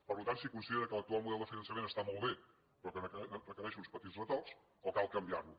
per tant si considera que l’actual model de finançament està molt bé però que requereix uns petits retocs o cal canviar lo